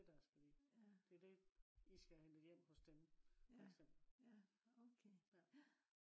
det der skal vi det er det i skal have hentet hjem hos dem for eksempel ja